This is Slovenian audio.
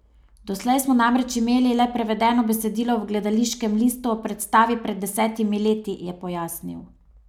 Doslej smo namreč imeli le prevedeno besedilo v gledališkem listu ob predstavi pred desetimi leti, je pojasnil.